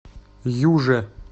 юже